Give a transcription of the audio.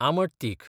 आमट तीख